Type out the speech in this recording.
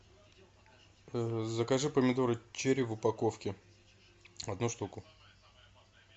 закажи помидоры черри в упаковке одну штуку